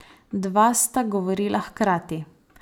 Dva sta govorila hkrati.